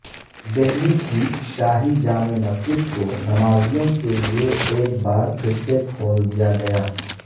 دہلی کی شاہی جامع مسجدکونمازیوں کے لئے ایک بارپھرسے کھول دیاگیا